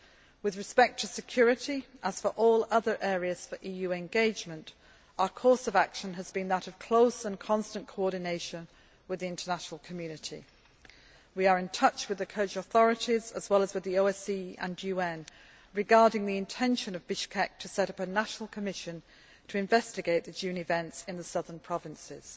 With respect to security, as for all other areas for EU engagement, our course of action has been that of close and constant coordination with the international community. We are in touch with the Kyrgyzstan authorities, as well as with the OSCE and UN, regarding the intention of Bishkek to set up a national commission to investigate the June events in the southern provinces.